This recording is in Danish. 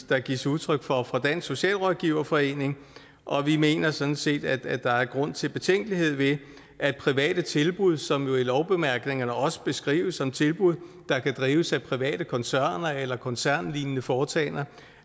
der gives udtryk for fra dansk socialrådgiverforening og vi mener sådan set at der er grund til betænkelighed ved at private tilbud som jo i lovbemærkningerne også beskrives som tilbud der kan drives af private koncerner eller koncernlignende foretagender